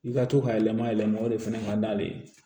I ka to ka yɛlɛma yɛlɛma o de fɛnɛ ka d'ale ye